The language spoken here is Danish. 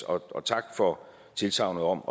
og tak for tilsagnet om